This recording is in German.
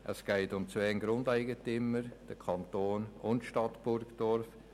Es geht um zwei Grundeigentümer: den Kanton und die Stadt Burgdorf.